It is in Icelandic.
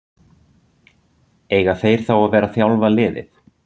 Eiga þeir þá að vera að þjálfa liðið?